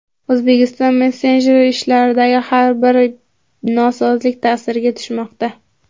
O‘zbekiston messenjer ishidagi har bitta nosozlik ta’siriga tushmoqda.